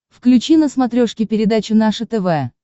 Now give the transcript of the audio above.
включи на смотрешке передачу наше тв